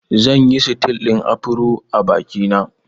Zan yi sitil ɗin Afro a biki na